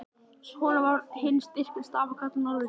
Honum, sem var hinn styrki stafkarl norðursins!